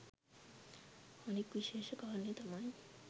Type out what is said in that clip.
අනික් විශේෂ කාරණය තමයි